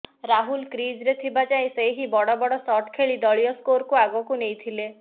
ରାହୁଲ କ୍ରିଜ୍ରେ ଥିବା ଯାଏ ସେ ହିଁ ବଡ଼ ବଡ଼ ଶଟ୍ ଖେଳି ଦଳୀୟ ସ୍କୋରକୁ ଆଗକୁ ନେଇଥିଲେ